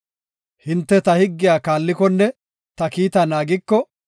Hinte ta higgiya kaallikonne ta kiita naagiko,